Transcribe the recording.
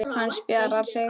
Hann spjarar sig.